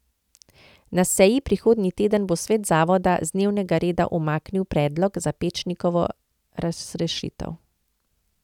Na seji prihodnji teden bo svet zavoda z dnevnega reda umaknil predlog za Pečnikovo razrešitev.